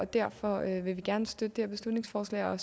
derfor vil vi gerne støtte det her beslutningsforslag og